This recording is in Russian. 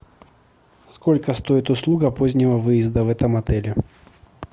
сколько стоит услуга позднего выезда в этом отеле